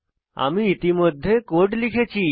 আমি ইতিমধ্যে কোড লিখেছি